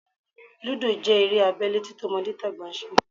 Lúdò jẹ́ eré abẹ́lé tí tọmọdétàgbà ń ṣe